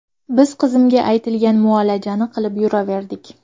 Biz qizimga aytilgan muolajani qilib yuraverdik.